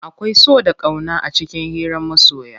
Akwai so da ƙauna a cikin hiran masoya.